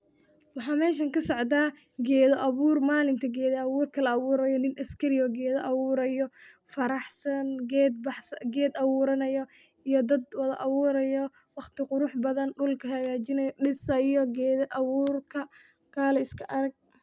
Waxa meshan kasocda geda abuur, malinta geda abuurka la abuuro, nin askari ah oo geda abuurayo, faraxsan ,ged abuuranayo iyo dad wada abuurayo, waqti qurux badan, dhulka hagajinayo ,dhisaayo geda abuurka kale iska arag